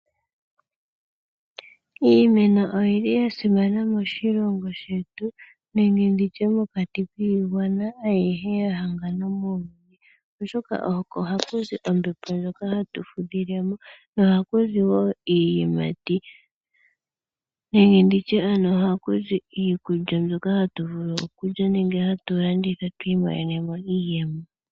Iimeno oyili yasimana moshilongo shetu nenge nditye mokati kiigwana ayihe yahangana, oshoka oko haku zi ompembo ndjoka hatu fudhilemo, nohaku zi woo iiyimati nenge nditye ano ohaku zi iikulya mbyoka hatu vulu okulya nenge hatu landitha twiimonene mo iiyemo.